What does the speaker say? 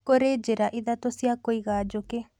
Kũrĩ njĩra ithatũ cia kũiga njũkĩ